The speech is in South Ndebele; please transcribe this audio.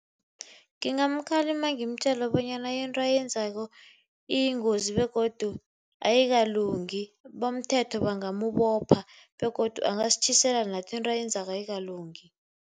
Ngingamkhalima ngimtjele bonyana into ayenzako iyingozi begodu ayikalungi, bomthetho bangamubopha begodu angasitjhisela nathi, into ayenzako ayikalungi.